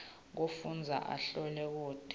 kufundza ahlole kute